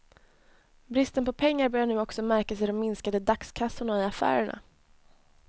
Bristen på pengar börjar nu också märkas i de minskade dagskassorna i affärerna.